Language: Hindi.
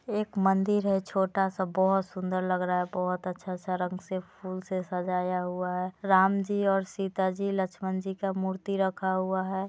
एक मंदिर है छोटा सा बहुत सुंदर लग रहा है बहुत अच्छा सा रंग से फूल से सजाया हुआ है राम जी और सीता जी लक्ष्मण जी का मूर्ति रखा हुआ है।